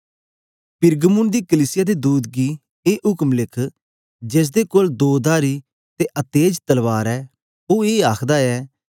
पिरगमुन दी कलीसिया दे दूत गी ए उक्म लिख जेसदे कोल दोधारी ते अतेज तलवार ऐ ओ ए आखदा ऐ के